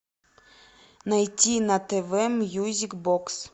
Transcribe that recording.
найти на тв мьюзик бокс